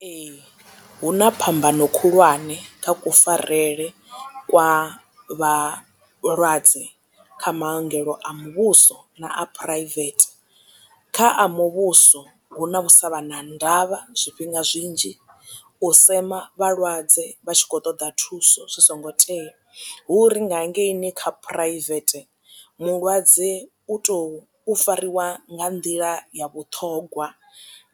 Ee hu na phambano khulwane kha kufarele kwa vhalwadze kha maongelo a muvhuso na a phuraivethe kha a muvhuso hu na u sa vha na ndavha zwifhinga zwinzhi, u sema vhalwadze vha tshi khou ṱoḓa thuso zwi songo tea hu uri nga hangeini kha private mulwadze u to fariwa nga nḓila ya vhuṱhongwa